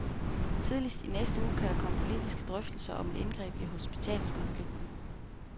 Tidligst i næste uge kan der komme politiske drøftelser om et indgreb i hospitalskonflikten.